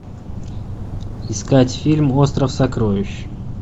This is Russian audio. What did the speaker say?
искать фильм остров сокровищ